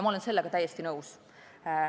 Ma olen sellega täiesti nõus.